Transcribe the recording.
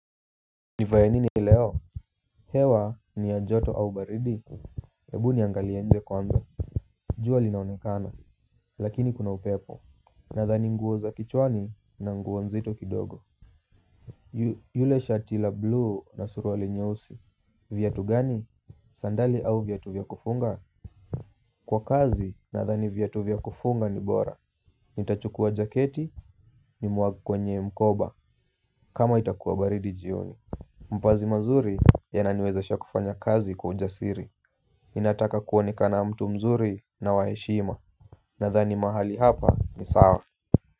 Nivae nini leo? Hewa ni ya joto au baridi. Hebu niangalie nje kwanza. Jua linaonekano lakini kuna upepo. Nadhani nguo za kichwani na nguo nzito kidogo yule shati la blue na suruali nyeusi viatu gani sandali au viatu vya kufunga. Kwa kazi nadhani viatu vya kufunga ni bora. Nitachukua jaketi niwage kwenye mkoba kama itakuwa baridi jioni. Mpazi mazuri yananiwezesha kufanya kazi kwa ujasiri. Inataka kuonekana mtu mzuri na waheshima. Nathani mahali hapa ni sawa.